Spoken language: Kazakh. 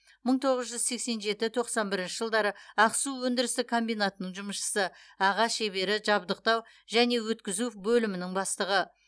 мың тоғыз жүз сексен жеті тоқсан бірінші жылдары ақсу өндірістік комбинатының жұмысшысы аға шебері жабдықтау және өткізу бөлімінің бастығы